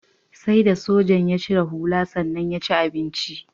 Sai da sojan ya cire hula sannan ya ci abincin.